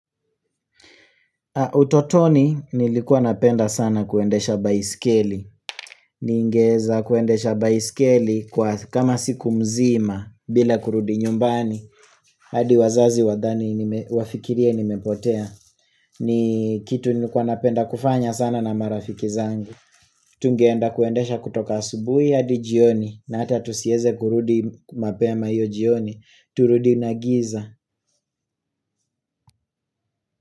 Utotoni nilikuwa napenda sana kuendesha baiskeli. Ningeweza kuendesha baiskeli kwa kama siku mzima bila kurudi nyumbani. Hadi wazazi wadhani nime wafikirie nimepotea. Ni kitu nliikuwa napenda kufanya sana na marafiki zangu. Tungeenda kuendesha kutoka asubuhi hadi jioni na hata tusiweze kurudi mapema hiyo jioni. Turudi na giza.